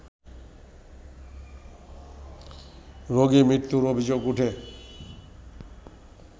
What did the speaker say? রোগি মৃত্যুর অভিযোগ উঠে